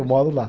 Eu moro lá.